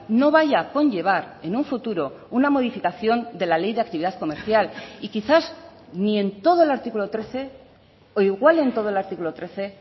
no vaya a conllevar en un futuro una modificación de la ley de actividad comercial y quizás ni en todo el artículo trece o igual en todo el artículo trece